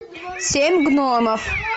семь гномов